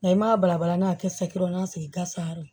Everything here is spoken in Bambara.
Nka i m'a bala n'a kɛ saki dɔrɔn de sigi ka sa yɔrɔ